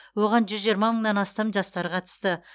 оған жүз жиырма мыңнан астам жастар қатысты